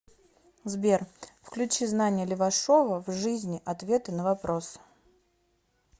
сбер включи знания левашова в жизни ответы на вопросы